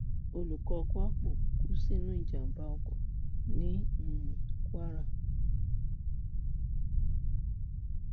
olùkọ kwapo kú sínú ìjàmbá oko ní um kwara